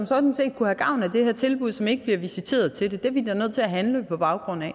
sådan set kunne have gavn af det her tilbud men som ikke bliver visiteret til det og det er vi da nødt til at handle på baggrund af